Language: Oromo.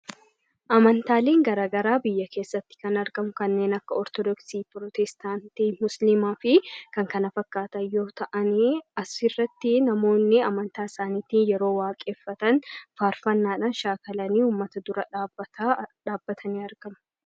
Amantaaleen gara garaa biyya keessatti kan argamu kanneen akka: Ortodoksiii, Protestaantii, Musiliimaa fi kan kana fakkaatan yoo ta'an, asirratti immoo namoonni amantaa isaaniitiin faarfannaadhaan shaakalanii yeroo uummata dura dhaabbatanii waaqeffatan ni argama.